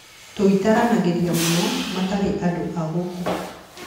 Tũitaranagĩria mũno, matiarĩ andũ agũkũ.